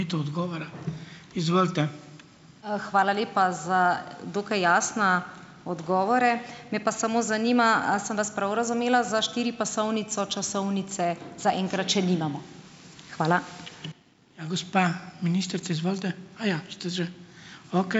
Hvala lepa za dokaj jasne odgovore. Me pa samo zanima, a sem vas prav razumela, za štiripasovnico časovnice zaenkrat še nimamo. Hvala.